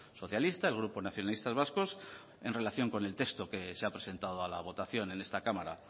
socialista el grupo nacionalistas vascos en relación con el texto que se ha presentado a la votación en esta cámara